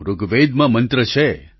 ઋગ્વેદમાં મંત્ર છે